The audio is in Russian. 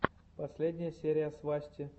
последняя серия свасти